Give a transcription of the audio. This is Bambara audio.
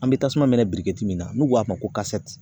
An bɛ tasuma minɛ min na n'u ko a ma ko